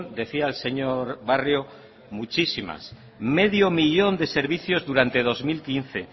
decía el señor barrio muchísimas medio millón de servicios durante dos mil quince